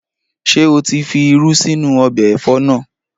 Ṣé o tí fi irú sínú ọbẹ̀ ẹ̀fọ́ naa?